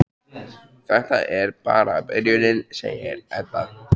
Þetta er bara byrjunin, segir Edda.